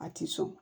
A ti sɔn